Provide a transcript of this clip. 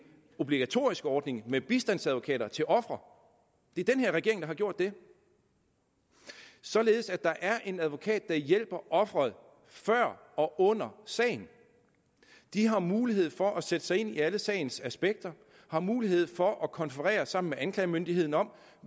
obligatorisk ordning med bistandsadvokater til ofre det er den her regering der har gjort det således at der er en advokat der hjælper ofrene før og under sagen de har mulighed for at sætte sig ind i alle sagens aspekter har mulighed for at konferere sammen med anklagemyndigheden om